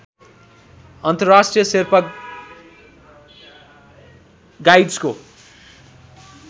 अन्तर्राष्ट्रिय शेर्पा गाइड्सको